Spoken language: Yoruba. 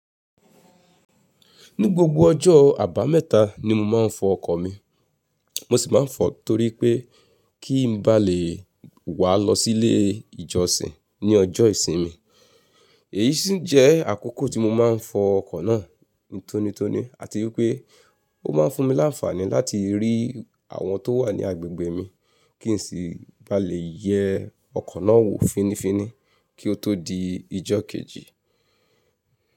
Ní gbogbo ọjọ́ àbámẹ̀ta ni mo máa ń fọ ọkọ̀ mi, mo sì máa ń fọ torí pé kí n ba lè wàá lọ sílé ìjọsìn ní ọjọ́ ìsinmi. Èyí sì jẹ́ àkókò tí mo máa ń fọ ọkọ̀ náà ńtonitoni àti wípé ó máa ń fún mi láǹfààní láti rí àwọn tó wà ní agbègbè mi kí n sì ba lè yẹ ọkọ̀ náà wò fínifíni kí ó tó di ijọ́ kejì.